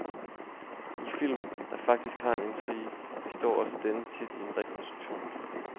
I film, der faktisk har en intrige, består også denne tit i en rekonstruktion.